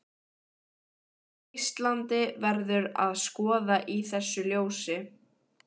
Íslandi, verður að skoða í þessu ljósi.